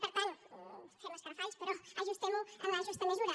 per tant fem escarafalls però ajustem ho en la justa mesura